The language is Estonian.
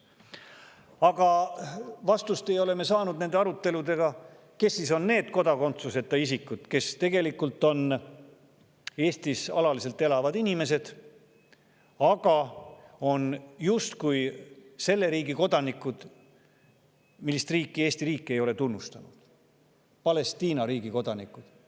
Aga me ei ole nende aruteludega saanud vastust sellele, kes on need kodakondsuseta isikud, kes tegelikult on Eestis alaliselt elavad inimesed, aga on justkui selle riigi kodanikud, keda Eesti riik ei ole tunnustanud – Palestiina riigi kodanikud.